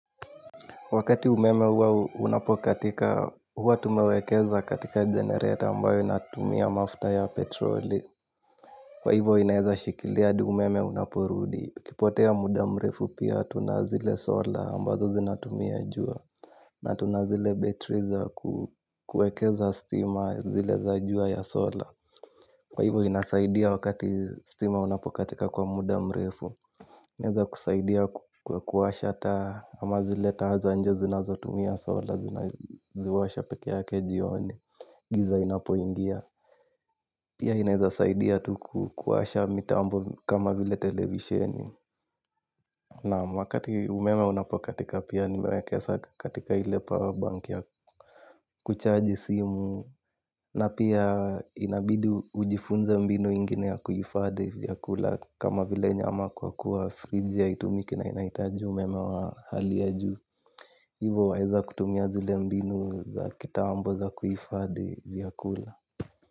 Wakati umeme huwa unapokatika huwa tumewekeza katika generator ambayo inatumia mafuta ya petroli. Kwa hivyo inaeza shikilia hadi umeme unaporudi ikipotea muda mrefu pia tuna zile solar ambazo zinatumia jua. Na tuna zile betri za kuekeza stima zile za jua ya solar. Kwa hivyo inasaidia wakati stima unapokatika kwa muda mrefu inaweza kusaidia kuwasha ata ama zile taa za nje zinazotumia solar zinaji washa peke yake jioni giza linapo ingia. Pia inaweza saidia tu kuwasha mitambo kama vile televisheni. Na wakati umeme unapokatika pia nimewekeza katika ile power bank ya kuchaji simu. Na pia inabidi ujifunze mbinu ingine ya kuhifadhi vyakula. Kama vile nyama kwa kuwa friji haitumiki na inaitaji meme wa hali ya juu. Hivyo waeza kutumia zile mbinu za kitambo za kuhifadhi vyakula.